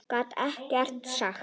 Gat ekkert sagt.